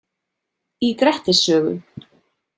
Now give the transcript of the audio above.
Í Grettis sögu.